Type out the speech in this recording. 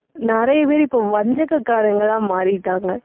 நிறைய பேர், இப்போ வஞ்சககாரங்களா மாறிட்டாங்க